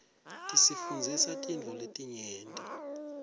tisifundzisa tintfo letinyenti